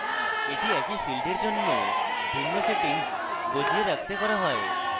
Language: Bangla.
এটি একই field এর জন্য ভিন্ন সেটিংস বাজিয়ে রাখতে করা হয়